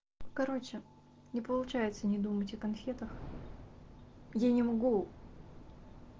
короче не получается не думать о конфетах я не могу